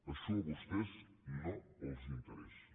això a vostès no els interessa